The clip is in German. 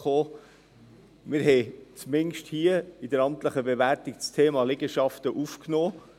Wir haben zumindest hier, bei der amtlichen Bewertung, das Thema Liegenschaften aufgenommen.